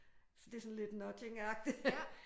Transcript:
Så det er sådan lidt nudgingagtigt